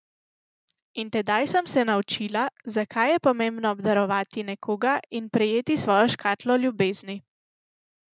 In tedaj sem se naučila, zakaj je pomembno obdarovati nekoga in prejeti svojo škatlo ljubezni.